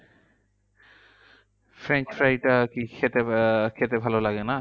French fry টা কি খেতে আহ খেতে ভালো লাগে না?